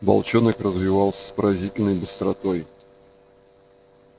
волчонок развивался с поразительной быстротой